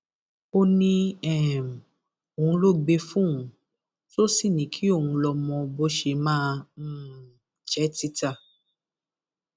ó ní um òun ló gbé e fóun tó sì ní kí òun lọọ mọ bó ṣe máa um jẹ títà